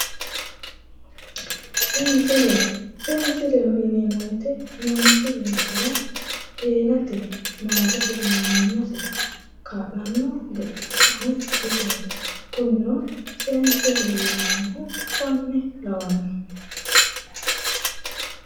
Sensille, sensilleho yineemmo woyte manchi beettira heerate maalisira manimasira kaa'lano gede isoti, kunino seesileho yineemmohu konne lawano.